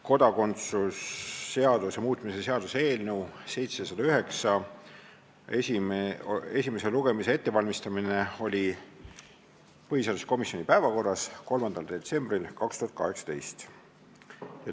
Kodakondsuse seaduse muutmise seaduse eelnõu 709 esimese lugemise ettevalmistamine oli põhiseaduskomisjoni päevakorras 3. detsembril 2018.